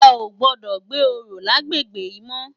È ó gbòdò gbé óró làgbégbé yi mò